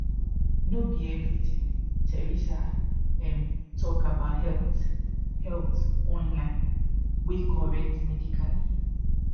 no be everything teresa um talk about health health online wey correct medically